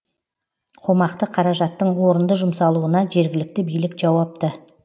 қомақты қаражаттың орынды жұмсалуына жергілікті билік жауапты